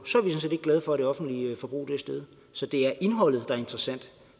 sådan set ikke glade for at det offentlige forbrug er steget så det er indholdet er interessant